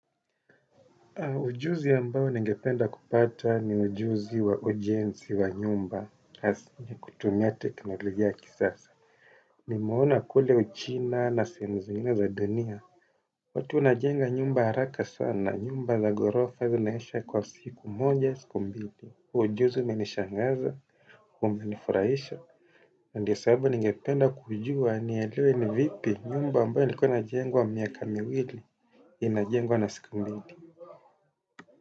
Ujuzi ambayo ningependa kupata ni ujuzi wa ujenzi wa nyumba. Hasa nikitumia teknolojia ya kisasa. Nimeona kule uchina na sehemu zingine za dunia. Watu wanajenga nyumba haraka sana, nyumba na gorofa zinaisha kwa siku moja siku mbili huo ujuzi umenishangaza, umenifurahisha. Ndiyo sababu ningependa kujua nielewe ni vipi nyumba ambayo ilikuwa inajengwa miaka miwili. Inajengwa na siku mbili.